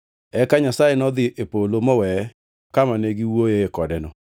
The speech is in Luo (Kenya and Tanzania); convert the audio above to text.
Eka Nyasaye nodhi e polo moweye kama ne giwuoyoe kodeno.